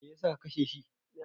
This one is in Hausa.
Me yasa ka kashe shi?